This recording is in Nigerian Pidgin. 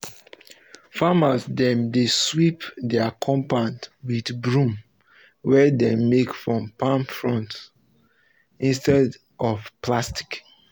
farmers dem dey sweep dia compound with broms wey dem make from palm fronds instead instead of plastic